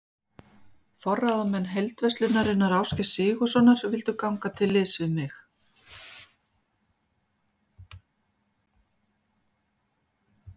Forráðamenn Heildverslunar Ásgeirs Sigurðssonar vildu ganga til liðs við mig.